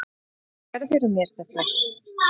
Hvers vegna gerðirðu mér þetta?